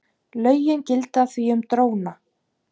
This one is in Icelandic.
Lögin gilda því um dróna.